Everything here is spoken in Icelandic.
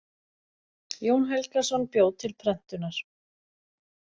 Jón Helgason bjó til prentunar.